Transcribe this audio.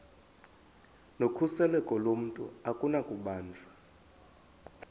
nokhuseleko lomntu akunakubanjwa